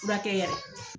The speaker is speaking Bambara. Furakɛ